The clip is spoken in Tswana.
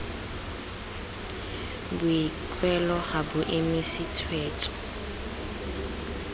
boikuelo ga bo emise tshwetso